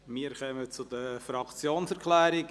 Wir kommen zu den Fraktionserklärungen.